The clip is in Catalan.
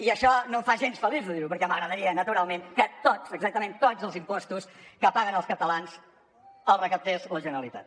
i això no em fa gens feliç de dir ho perquè m’agradaria naturalment que tots exactament tots els impostos que paguen els catalans els recaptés la generalitat